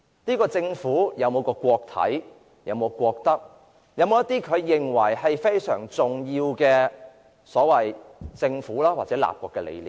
這個政府有否顧及國體、國德，有否顧及一些被認為非常重要的政府或立國理念呢？